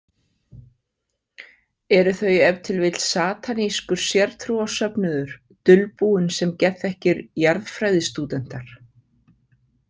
Eru þau ef til vill satanískur sértrúarsöfnuður dulbúin sem geðþekkir jarðfræðistúdentar?